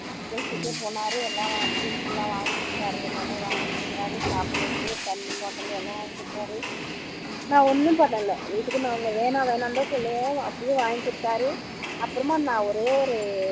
பேசிட்டே போனார் எல்லாம் drinks எல்லாம் வாங்கி குடுத்தார் எல்லாமே வாங்கி குடுத்தார் சாப்பிடுறதுக்கு தண்ணி bottle நான் ஒன்னும் பண்ணல எல்லாமே வாங்கி குடுத்தார் நான் ஒன்னும் பண்ணல இதுக்கு நான் வேண்டாம் வேண்டாம்னுதான் சொல்லுவோம் அப்படியும் வவாங்கி குடுத்தார் அப்புறமா நான் ஒரே ஒரு